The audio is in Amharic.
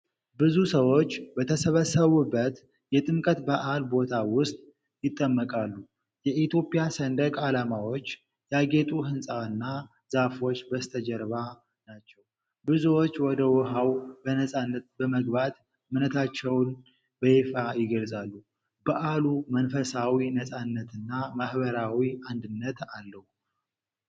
ብዙ ሰዎች በተሰበሰቡበት የጥምቀት በዓል ቦታ ውስጥ ይጠመቃሉ። የኢትዮጵያ ሰንደቅ ዓላማዎች ያጌጡ ሕንፃና ዛፎች በስተጀርባ ናቸው። ብዙዎች ወደ ውሃው በነፃነት በመግባት እምነታቸውን በይፋ ይገልጻሉ። በዓሉ መንፈሳዊ ነፃነትና ማኅበራዊ አንድነትን አለው።